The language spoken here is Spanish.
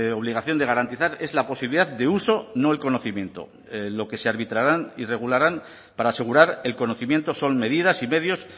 obligación de garantizar es la posibilidad de uso no el conocimiento lo que se arbitrarán y regularán para asegurar el conocimiento son medidas y medios